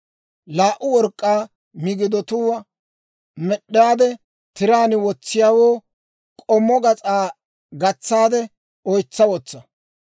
Laa"u work'k'aa migidatuwaa med'd'aade, tiraan wotsiyaawoo k'ommo gas'aa gatsaade oytsa wotsa.